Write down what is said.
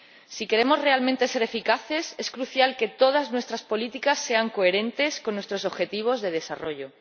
Si queremos realmente ser eficaces, es crucial que todas nuestras políticas sean coherentes con nuestros objetivos de desarrollo.